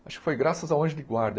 Acho que foi graças ao Anjo de Guarda.